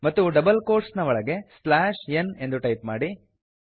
ಮತ್ತು double quotes ಒಳಗೆ slash N ಎಂದು ಟೈಪ್ ಮಾಡಿ